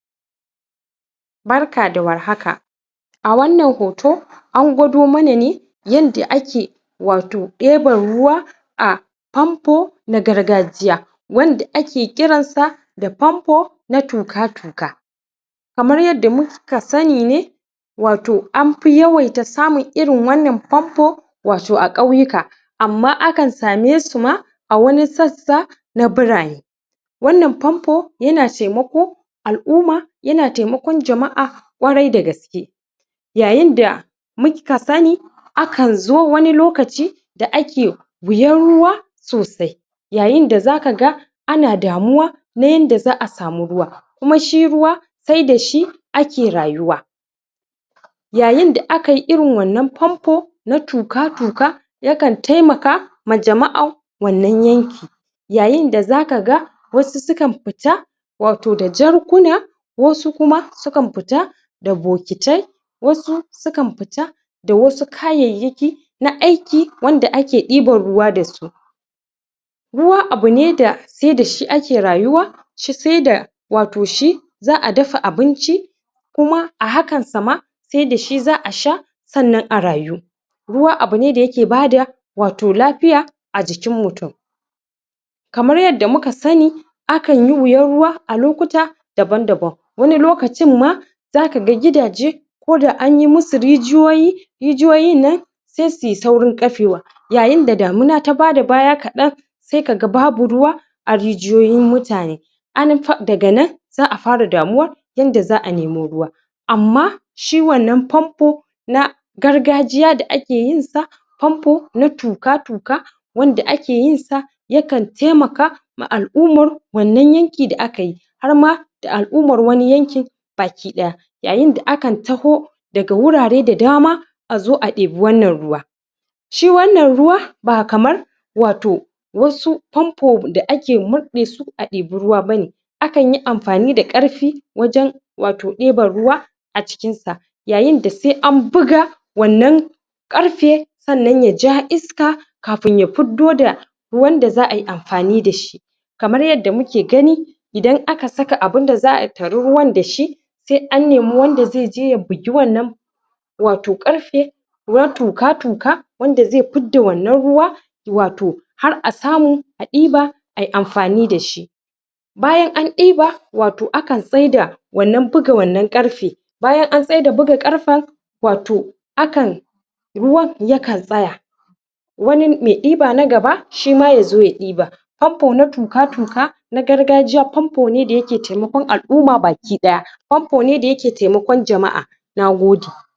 Barka da warhaka! a wannan hoto an gwado mana ne yanda ake wato ɗeban ruwa a famfo na gargajiya wanda ake ƙiran sa da famfo na tuka-tuka kamar yanda mu..ka sanni ne wato, anfi yawaita samun irin wannan famfo wato a ƙauyuka amma akan same su ma a wani sassa na birane wannan famfo yana taimako al'uma yana taimakon jama'a ƙwarai da gaske yayin da muka sanni akan zo wani lokaci da ake wuyan ruwa sosai yayin da zaka ga ana damuwa na yanda za'a samu ruwa kuma shi ruwa sai dashi ake rayuwa yayin da akai irin wannan famfo na tuka-tuka yakan taimaka ma jama'a wannan yanki yayin da zaka ga wasu sukan fita wato da jarkuna wasu kuma sukan fita da bokitai wasu sukan fita da wasu kayayyaki na aiki wanda ake ɗiban ruwa dasu ruwa abune da sai dashi ake rayuwa shi, sai da wato shi za'a dafa abunci kuma a hakan sa ma sai dashi za'a sha sannan a rayu ruwa abune da yake bada wato lafiya a jikin mutum kamar yanda muka sanni akan yi wuyan ruwa a lokuta daban-daban wani lokacin ma zaka ga gidaje koda anyi musu rijiyoyi rijiyoyin nan sai suyi saurin ƙafewa yayin da damuna taa bada baya kaɗan sai kaga babu ruwa a rijiyoyin mutane anan fa daga nan za'a fara damuwa yanda za'a nemo ruwa amma shi wannan famfo na gargajiya da ake yin sa famfo na tuka-tuka wanda ake yin sa yakan taimaka ma al'umar wannan yanki da akayi har ma da al'umar wani yankin baki ɗaya yayin da akan taho daga wurare da dama azo a ɗebi wannan ruwa shi wannan ruwa ba kamar wato wasu famfo da ake murɗe su a ɗebi ruwa bane akanyi amfani da ƙarfi wajen wato ɗeban ruwa acikin sa yayin da sai an buga wannan ƙarfe sannan yaja iska kafin ya fiddo da ruwan da za ai amfani dashi kamar yadda muke gani idan aka saka abunda za'a tara ruwan dashi sai an nemi wanda zai je ya bugi wannan wato ƙarfe tuka-tuka wanda zai fidda wannan ruwa wato har a samu a ɗiba ai amfani dashi bayan an ɗiba wato akan tsaida wannan buga wannan ƙarfe bayan an tsaida buga ƙarfen wato akan ruwan ya kan tsaya wani mai ɗiba na gaba shima yazoya ɗiba famfo na tuka-tuka na gargajiya famfo ne da yake taimakon al- uma baki ɗaya famfo ne da yake taimakon jama'a Nagode!